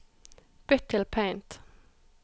Bytt til Paint